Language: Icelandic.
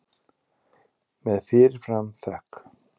Með fyrir fram þökk.